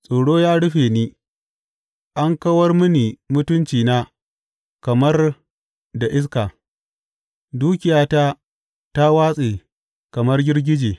Tsoro ya rufe ni; an kawar mini mutuncina kamar da iska, dukiyata ta watse kamar girgije.